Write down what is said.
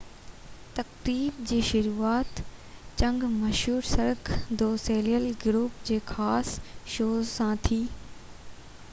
تقريب جي شروعات جڳ مشهور سرڪ دو سوليل گروپ جي خاص شو سان ٿي